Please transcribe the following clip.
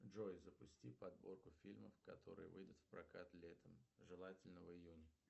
джой запусти подборку фильмов которые выйдут в прокат летом желательно в июне